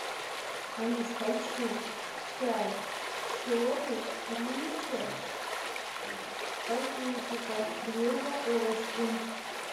алиса хочу чай черный ричард в пакетиках две упаковочки